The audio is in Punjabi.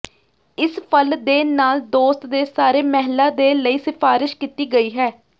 ਇਸ ਫਲ ਦੇ ਨਾਲ ਦੋਸਤ ਦੇ ਸਾਰੇ ਮਹਿਲਾ ਦੇ ਲਈ ਸਿਫਾਰਸ਼ ਕੀਤੀ ਗਈ ਹੈ